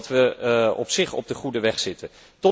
Ik denk dat we op zich op de goede weg zitten.